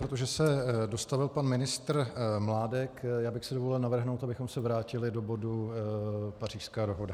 Protože se dostavil pan ministr Mládek, já bych si dovolil navrhnout, abychom se vrátili do bodu Pařížská dohoda.